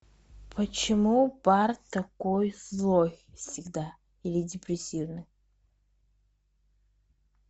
почему барт такой злой всегда или депрессивный